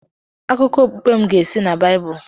Akụkọ okpukpe m ga-esi na Baịbụl.